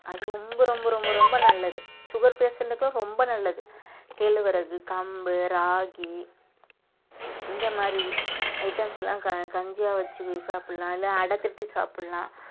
அது ரொம்ப ரொம்ப ரொம்ப ரொம்ப நல்லது சுகர் patient க்கு எல்லாம் ரொம்ப நல்லது கேழ்வரகு, கம்பு, ராகி அந்த மாதிரி items எல்லாம் க~ கஞ்சியா வச்சு சாப்பிடலாம் இல்ல அடை திட்டி சாப்பிடலாம்.